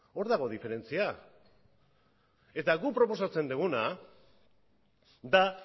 hor dago diferentzia eta guk proposatzen duguna da